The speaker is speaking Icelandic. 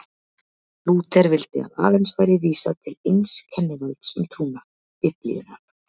Lúther vildi að aðeins væri vísað til eins kennivalds um trúna, Biblíunnar.